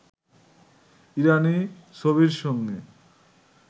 ইরানি ছবির সঙ্গে